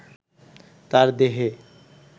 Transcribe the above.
তার দেহে